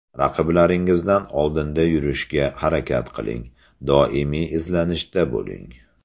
Raqiblaringizdan oldinda yurishga harakat qiling, doimiy izlanishda bo‘ling.